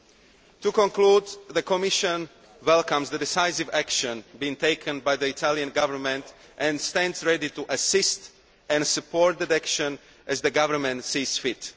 In conclusion, the Commission welcomes the decisive action being taken by the Italian Government and stands ready to assist and support that action as the Government sees fit.